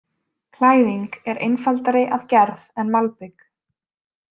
Klæðing er einfaldari að gerð en malbik.